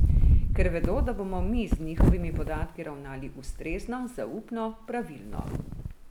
Ker vedo, da bomo mi z njihovimi podatki ravnali ustrezno, zaupno, pravilno.